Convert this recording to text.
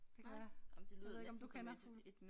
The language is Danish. Det kan være jeg ved ikke om du kender fuglen